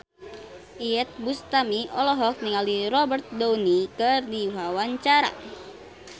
Iyeth Bustami olohok ningali Robert Downey keur diwawancara